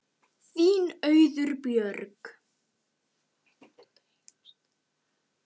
Þín Auður Björg.